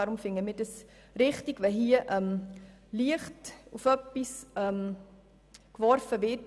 Deshalb finden wir es richtig, wenn darauf Licht geworfen wird.